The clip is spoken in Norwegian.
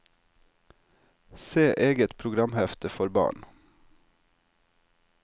Se eget programhefte for barn.